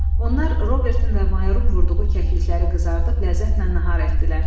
Onlar Robertin və Mayrun vurduğu kəklikləri qızardıb ləzzətlə nahar etdilər.